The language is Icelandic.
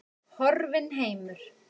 Horfinn heimur.